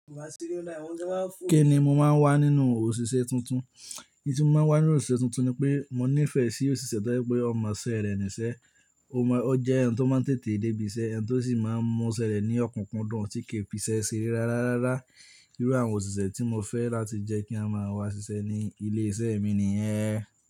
Kí ni mo máa ń wá nínú òṣìṣẹ́ tuntun? N tí mo máa ń wá nínú òṣìṣẹ́ tuntun ni pé, mo nífẹ̀ẹ́ sí òṣìṣẹ́ tó jẹ pé ó mọ iṣẹ́ rẹ̀ níṣẹ́, ó jẹ́ ẹni tó máa ń tètè dé ibi iṣẹ́, ẹni tó sì máa ń mọ iṣẹ́ rẹ̀ ní ọkunkundun tí kì í fi iṣẹ́ sere rárá rárá. Irú àwọn òṣìṣẹ́ tí mo fẹ́ láti jẹ́ kí n máa wá ṣiṣẹ́ ní ilé-iṣẹ́ mi nìyẹn.